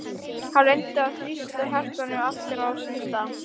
Hann reyndi að þrýsta hjartanu aftur á sinn stað.